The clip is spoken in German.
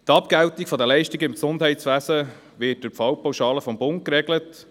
Die Abgeltung von Leistungen im Gesundheitswesen wird durch die Fallpauschale des Bundes geregelt.